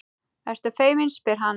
Ertu feimin, spyr hann.